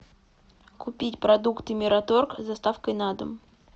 купить продукты мираторг с доставкой на дом